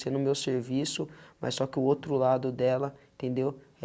Sendo o meu serviço, mas só que o outro lado dela, entendeu?